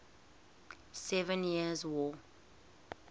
seven years war